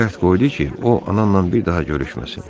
Ancaq şərt qoydu ki, o ananla bir daha görüşməsin.